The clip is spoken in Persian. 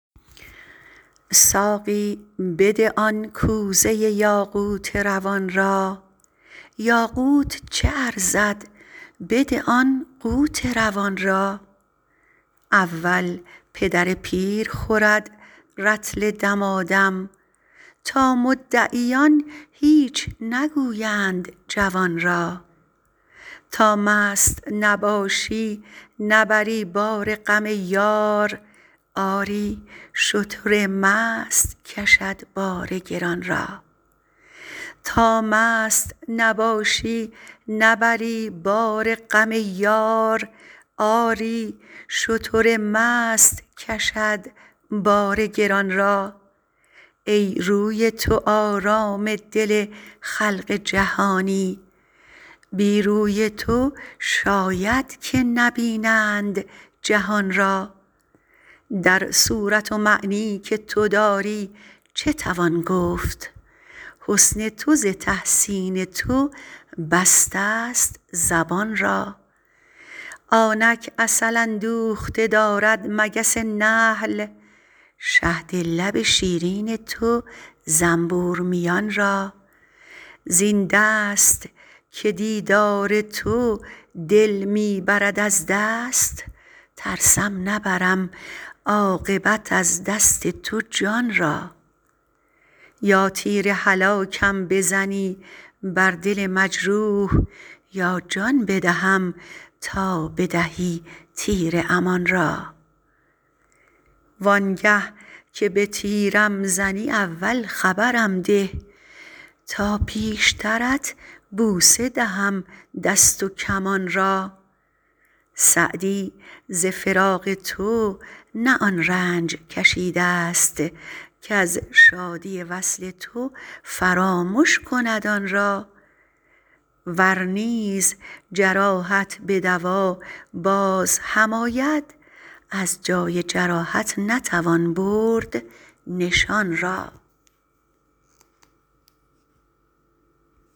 ساقی بده آن کوزه یاقوت روان را یاقوت چه ارزد بده آن قوت روان را اول پدر پیر خورد رطل دمادم تا مدعیان هیچ نگویند جوان را تا مست نباشی نبری بار غم یار آری شتر مست کشد بار گران را ای روی تو آرام دل خلق جهانی بی روی تو شاید که نبینند جهان را در صورت و معنی که تو داری چه توان گفت حسن تو ز تحسین تو بستست زبان را آنک عسل اندوخته دارد مگس نحل شهد لب شیرین تو زنبور میان را زین دست که دیدار تو دل می برد از دست ترسم نبرم عاقبت از دست تو جان را یا تیر هلاکم بزنی بر دل مجروح یا جان بدهم تا بدهی تیر امان را وان گه که به تیرم زنی اول خبرم ده تا پیشترت بوسه دهم دست و کمان را سعدی ز فراق تو نه آن رنج کشیدست کز شادی وصل تو فرامش کند آن را ور نیز جراحت به دوا باز هم آید از جای جراحت نتوان برد نشان را